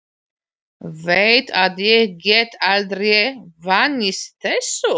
Veit að ég get aldrei vanist þessu.